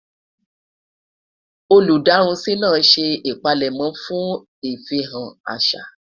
olú darunsi nà ṣé ipalemo fún ifihan àṣà